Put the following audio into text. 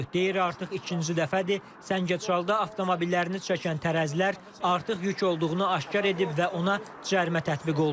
Deyir artıq ikinci dəfədir, Səngəçalda avtomobillərini çəkən tərəzilər artıq yük olduğunu aşkar edib və ona cərimə tətbiq olunub.